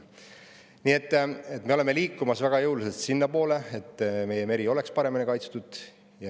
Nii et me oleme liikumas väga jõuliselt sinnapoole, et meie meri oleks paremini kaitstud.